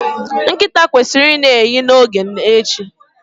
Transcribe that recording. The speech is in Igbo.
Nkịta kwesịrị i na-ehi n'oge a echi